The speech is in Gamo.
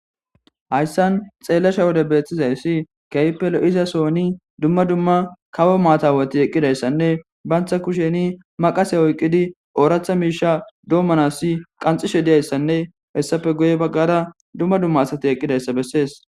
hayssan xeellasha wode beetizayssi keehippe lo'za sooni dumma dumma kawo maatawati eqqidayssanne bantha kusheni maqase oyqqidi ooratha miisha doommanasi qanxishe diyayssanne hessafe guye baggada dumma dumma asati eqqidayssa bessees